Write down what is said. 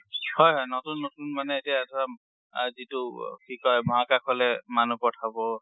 হয়, হয়। নতুন নতুন মানে এতিয়া ধৰা আ যিটো কি কয় মহাকাশলে মানুহ পথাব